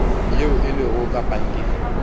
yeo e lego ka pankeng